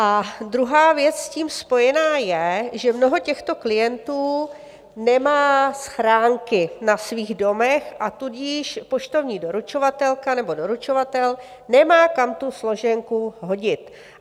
A druhá věc s tím spojená je, že mnoho těchto klientů nemá schránky na svých domech, a tudíž poštovní doručovatelka nebo doručovatel nemá kam tu složenku hodit.